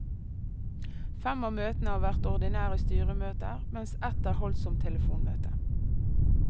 Fem av møtene har vært ordinære styremøter, mens ett er holdt som telefonmøte.